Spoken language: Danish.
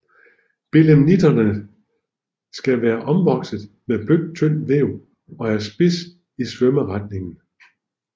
Belemnitternes skal var omvokset med blødt tyndt væv og er spids i svømmeretningen